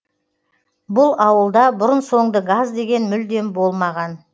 бұл ауылда бұрын соңды газ деген мүлдем болмаған